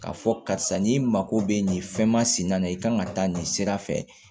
K'a fɔ karisa nin mako bɛ nin fɛn masina na i kan ka taa nin sira fɛ